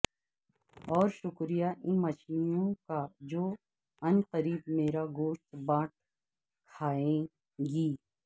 اور شکریہ ان مچھلیوں کا جو عن قریب میرا گوشت بانٹ کھائیں گی